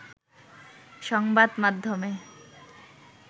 সংবাদমাধ্যমে